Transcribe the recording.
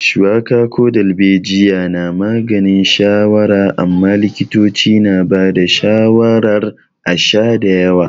Shuwaka ko darbejiya na maganin shawara amma likitoci na ba da shawarar a sha da yawa.